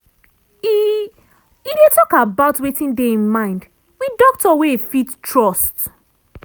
e e dey talk about wetin dey e mind wit doctor wey e fit trust.